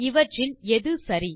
இவற்றில் எது சரி